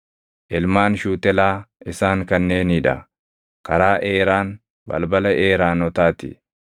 Ilmaan Shuutelaa isaan kanneenii dha: karaa Eeraan, balbala Eeraanotaa ti.